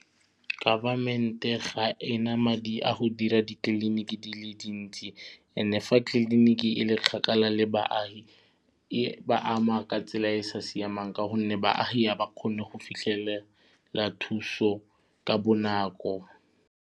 Government-e ga ena madi a go dira ditleliniki di le dintsi and-e fa tliliniki e le kgakala le baagi e ba ama ka tsela e e sa siamang ka gonne baagi ga ba kgone go fitlhelela thuso ka bonako.